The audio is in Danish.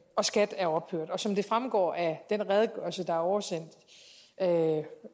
og skat er ophørt som det fremgår af den redegørelse der er oversendt